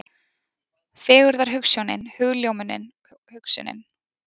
Fegurðarhugsjónin, hugljómunin, hugsunin.